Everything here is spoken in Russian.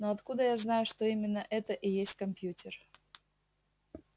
но откуда я знаю что именно это и есть компьютер